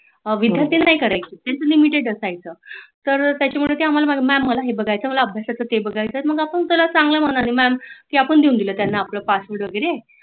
विद्यार्थी नाही करायचे त्यांच limited असायच तर त्याच्यामुळे ते आम्हाला मॅम मला हे बघायच, मला अभ्यासाच ते बघायच आहे तर चांगल मनाली मॅम आम्ही त्याला घेऊन दिल आपल पासवर्ड वगेरे